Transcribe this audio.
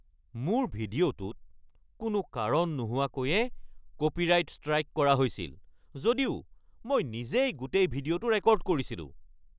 মোৰ ভিডিঅ'টোত কোনো কাৰণ নোহোৱাকৈয়ে কপিৰাইট ষ্ট্ৰাইক কৰা হৈছিল, যদিও মই নিজেই গোটেই ভিডিঅ'টো ৰেকৰ্ড কৰিছিলোঁ।